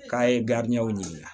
K'a ye ɲininka